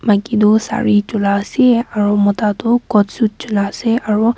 maki tu sare chulaase aro mota toh coat suit chulaase aro.